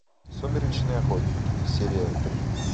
сумеречные охотники серия три